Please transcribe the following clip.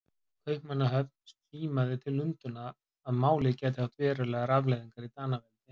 Kaupmannahöfn símaði til Lundúna, að málið gæti haft verstu afleiðingar í Danaveldi.